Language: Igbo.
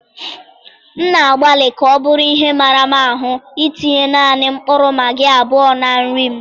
M na-agbalị ka ọ bụrụ ihe mara m ahụ itinye nanị mkpụrụ magị abụọ na nri m.